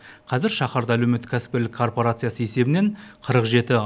қазір шаһарда әлеуметтік кәсіпкерлік корпорациясы есебінен қырық жеті